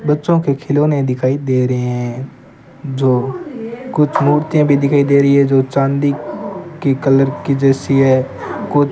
बच्चों के खिलौने दिखाई दे रहे हैं जो कुछ मूर्तियां भी दिखाई दे रही है जो चांदी के कलर की जैसी है।